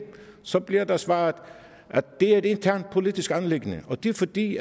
så bliver der svaret at det er et internt politisk anliggende og det er fordi